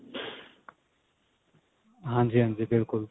ਹਾਂਜੀ ਹਾਂਜੀ ਬਿਲਕੁਲ